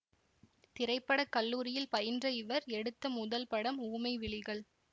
திரைப்படக்கல்லூரியில் பயின்ற இவர் எடுத்த முதல் படம் ஊமை விழிகள்